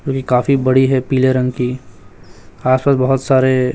पूरी काफी बड़ी है पीले रंग की आस पास बहोत सारे--